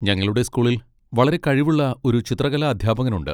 ഞങ്ങളുടെ സ്കൂളിൽ വളരെ കഴിവുള്ള ഒരു ചിത്രകലാ അധ്യാപകനുണ്ട്.